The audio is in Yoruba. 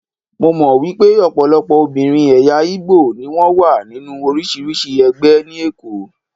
Mo mọ̀ wípé ọ̀pọ̀lọpọ̀ obìnrin ẹ̀yà Ìgbò ni wón wà nínú oríṣiríṣi ẹgbẹ́ ní Èkó.